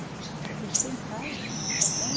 eu deixei em casa também.